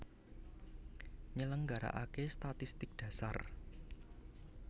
Nyelenggarakaké statistik dhasar